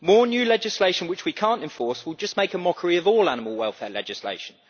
more new legislation which we cannot enforce will just make a mockery of all animal welfare legislation.